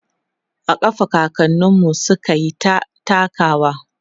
a ƙafa kakaninmu sukyita takawa